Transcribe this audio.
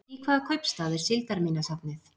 Í hvaða kaupstað er síldarminjasafnið?